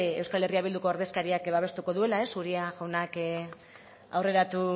euskal herria bilduko ordezkariak babestuko duela uria jaunak aurreratu